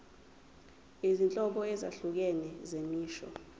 izinhlobo ezahlukene zemisho